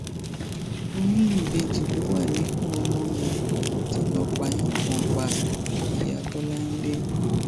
oyún ìbejì ló wà níkùn ọmọ mi tọlọpàá yìnbọn pa iya ọmọbọláńle